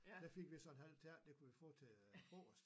Der fik vi så en halv tærte det kunne vi få til øh frokost